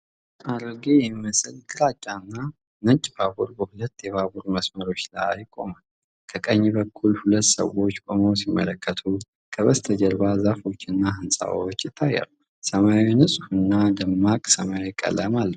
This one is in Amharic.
አሮጌ የሚመስል ግራጫና ነጭ ባቡር በሁለት የባቡር መስመሮች ላይ ቆሟል። ከቀኝ በኩል ሁለት ሰዎች ቆመው ሲመለከቱ፤ ከበስተጀርባ ዛፎችና ሕንፃዎች ይታያሉ። ሰማዩ ንጹህና ደማቅ ሰማያዊ ቀለም አለው።